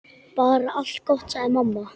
Bara allt gott, sagði mamma.